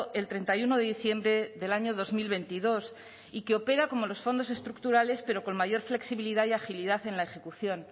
el treinta y uno de diciembre del año dos mil veintidós y que opera como los fondos estructurales pero con mayor flexibilidad y agilidad en la ejecución